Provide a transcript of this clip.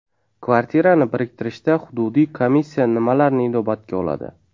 Kvartirani biriktirishda hududiy komissiya nimalarni inobatga oladi?